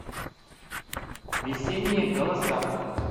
весенние голоса